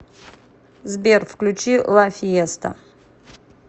сбер включи ла фиеста